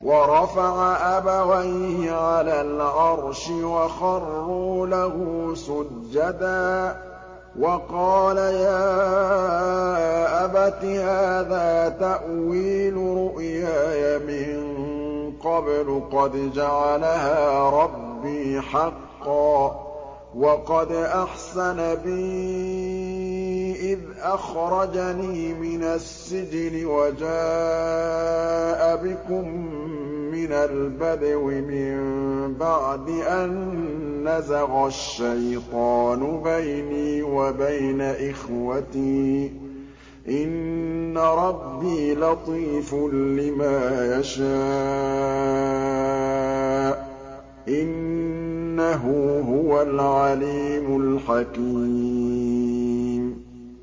وَرَفَعَ أَبَوَيْهِ عَلَى الْعَرْشِ وَخَرُّوا لَهُ سُجَّدًا ۖ وَقَالَ يَا أَبَتِ هَٰذَا تَأْوِيلُ رُؤْيَايَ مِن قَبْلُ قَدْ جَعَلَهَا رَبِّي حَقًّا ۖ وَقَدْ أَحْسَنَ بِي إِذْ أَخْرَجَنِي مِنَ السِّجْنِ وَجَاءَ بِكُم مِّنَ الْبَدْوِ مِن بَعْدِ أَن نَّزَغَ الشَّيْطَانُ بَيْنِي وَبَيْنَ إِخْوَتِي ۚ إِنَّ رَبِّي لَطِيفٌ لِّمَا يَشَاءُ ۚ إِنَّهُ هُوَ الْعَلِيمُ الْحَكِيمُ